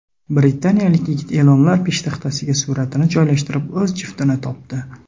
Britaniyalik yigit e’lonlar peshtaxtasiga suratini joylashtirib, o‘z juftini topdi .